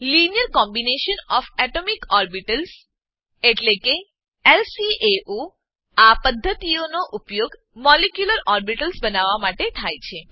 linear combination of atomic orbitals linear combination of atomic orbitals એટલે કે LCAO આ પદ્ધતિનો ઉપયોગ મોલિક્યુલર ઓર્બિટલ્સ બનાવવા માટે થાય છે